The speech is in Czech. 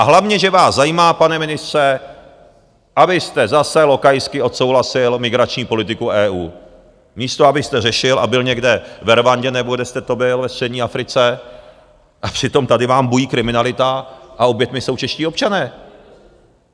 A hlavně že vás zajímá, pane ministře, abyste zase lokajsky odsouhlasil migrační politiku EU, místo abyste řešil a byl někde ve Rwandě, nebo kde jste to byl ve střední Africe, a přitom tady vám bují kriminalita a oběťmi jsou čeští občané.